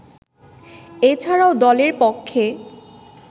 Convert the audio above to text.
এছাড়াও দলের পক্ষে